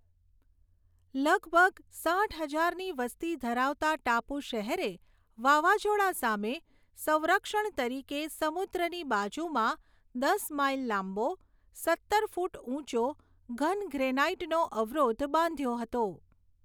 લગભગ સાઠ હજારની વસ્તી ધરાવતા ટાપુ શહેરે વાવાઝોડા સામે સંરક્ષણ તરીકે સમુદ્રની બાજુમાં દસ માઇલ લાંબો, સત્તર ફૂટ ઊંચો ઘન ગ્રેનાઈટનો અવરોધ બાંધ્યો હતો.